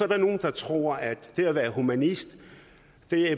der nogle der tror at det at være humanist